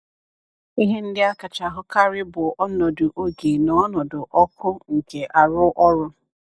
Ihe ndị a kacha ahụkarị bụ ọnọdụ oge na ọnọdụ ọkụ nke arụ ọrụ.